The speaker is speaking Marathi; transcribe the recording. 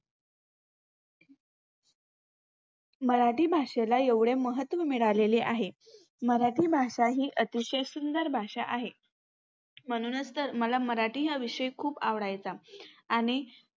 मराठी भाषेला एवढे महत्व मिळालेले आहे. मराठी भाषा ही अतिशय सुंदर भाषा आहे. म्हणूनच तर मला मराठी हा विषय खूप आवडायचा आणि